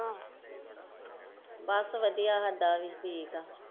ਬੱਸ ਵਧੀਆ ਸਾਡਾ ਵੀ ਠੀਕ ਏ।